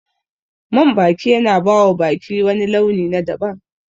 Man baki yana bawa baki wani launi na daban